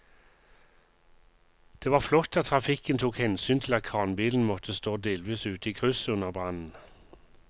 Det var flott at trafikken tok hensyn til at kranbilen måtte stå delvis ute i krysset under brannen.